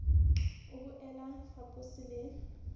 o boele o fapose le